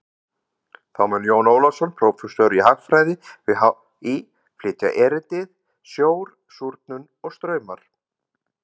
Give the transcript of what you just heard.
Þá mun Jón Ólafsson, prófessor í haffræði við HÍ, flytja erindið Sjór, súrnun og straumar.